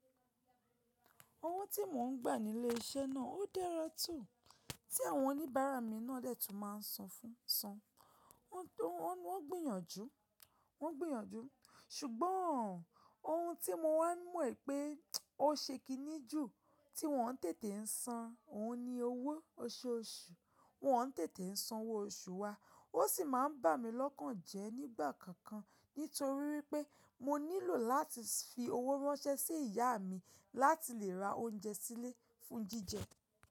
Ọwọ́ tí mò ń gbà nílé iṣẹ́ náà ó dẹ́rọ̀ tó tí àwọn oníbàárà mi náà dẹ́tù máa ń san fún san. Wọ́n gbìyànjú, wọ́n gbìyànjú ṣùgbọ́n ohun tí mo wá mọ̀ pé ó ṣekí níjù tí wọ́n tètè ń san, òun ni owó oṣooṣù. Wọ́n tètè ń san owó oṣù wa, ó sì máa ń bà mí lọ́kàn jẹ́ nígbà kankan nítorí pé mo nílò láti fi owó ránṣẹ́ sí ìyá mi láti lè ra oúnjẹ sílé fún jíjẹ.